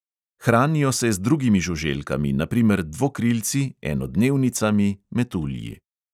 Hranijo se z drugimi žuželkami na primer dvokrilci, enodnevnicami, metulji.